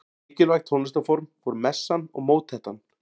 Mikilvæg tónlistarform voru messan og mótettan.